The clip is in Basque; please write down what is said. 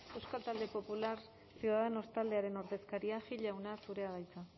euskal talde popular ciudadanos taldearen ordezkaria gil jauna zurea da hitza